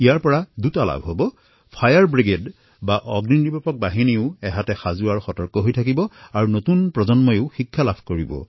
ইয়াৰ দ্বাৰা দুটা লাভ হব অগ্নিনিৰ্বাপক বাহিনীয়েও সতৰ্ক হৈ থকাৰ অভ্যাস কৰিব আৰু নতুন প্ৰজন্মই ইয়াৰ শিক্ষা প্ৰাপ্ত কৰিব